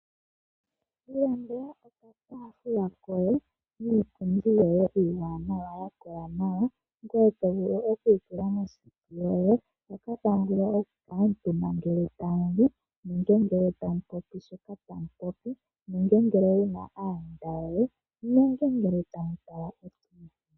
Ilandela oka taafula koye niipundi yoye ya kola nawa . Ngoye to vulu oku yi tula mo seti yoye hoka tamu vulu oku kuutumba ngele tamuli . Nenge ngele tamu popi shotamupopi . Nenge ngele wuna aayenda yoye nenge ngele tamu tala olaadio yomu zizimba.